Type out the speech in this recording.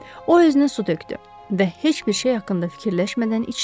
O özünə su tökdü və heç bir şey haqqında fikirləşmədən içdi.